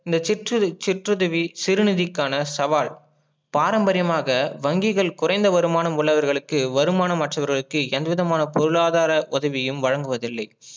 இந்த சிற்றுதவி சிறுநிதிகாண சவால் பாரம்பரியமாக வங்கிகள் குறைந்த வருமானம் உள்ளவர்களுக்கு வருமானம் அற்றவர்களுக்கு எந்த விதமான பொருளாதார உதவியும் வழங்குவதில்லை